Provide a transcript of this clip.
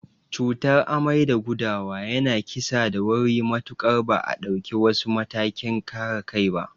Cutar amai da gudawa yana kissa da wuri matuƙar ba a dauki wasu matakin kare kai ba.